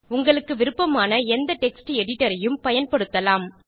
உங்களுக்கு விருப்பமான எந்த டெக்ஸ்ட் editorஐயும் பயன்படுத்தலாம்